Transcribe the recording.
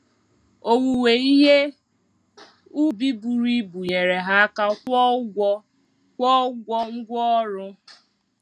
Owuwe ihe ubi buru ibu nyere ha aka kwụọ ụgwọ kwụọ ụgwọ ngwá ọrụ.